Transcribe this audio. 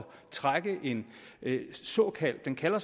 trække en såkaldt kalder